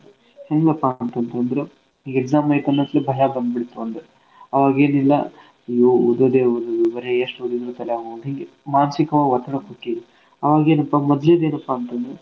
ಹ್ಯಾಂಗಪ್ಪ ಅಂತಂತಂದ್ರ ಈಗ್ exam ಐತ್ ಅನ್ನತ್ಲೆ ಭಯ ಬಂದ್ಬಿಡ್ತ್ ಒಂದು. ಅವಾಗ್ ಏನಿಲ್ಲಾ ಅಯೋ ಓದೋದೇ ಓದೋದು ಏನ್ ಬರೇ ಎಷ್ಟ್ ಓದಿದ್ರೂ ತಲ್ಯಾಗ್ ಹೋಗ್ವಲ್ದು ಹಿಂಗ. ಮಾನ್ಸೀಕವಾಗ್ ಒತ್ತಡಕ್ ಹೊಕ್ಕೇವ್ ಅವಾಗೇನಪಾ ಮೊದ್ಲಿದ್ ಏನಪಾ ಅಂತಂದ್ರ.